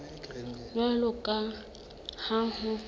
jwalo ka ha ho bontshitswe